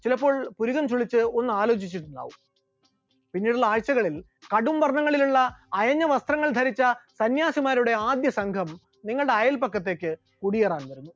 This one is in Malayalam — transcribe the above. ചിലപ്പോൾ പുരികം ചുളിച്ച് ഒന്ന് ആലോചിച്ചിട്ടുണ്ടാകാം, പിന്നീടുള്ള ആഴ്ചകളിൽ കടും വർണ്ണങ്ങളിലുള്ള അയഞ്ഞ വസ്ത്രങ്ങൾ ധരിച്ച സന്യാസിമാരുടെ ആദ്യ സംഘം നിങ്ങളുടെ അയല്പക്കത്തേക്ക് കുടിയേറാൻ വരുന്നു.